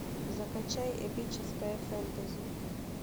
закачай эпическое фэнтези